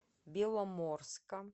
беломорска